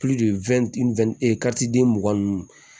den mugan nunnu